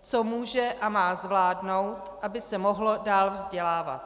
co může a má zvládnout, aby se mohlo dál vzdělávat.